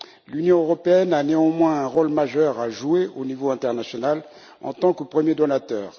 L'Union européenne a néanmoins un rôle majeur à jouer au niveau international en tant que premier donateur.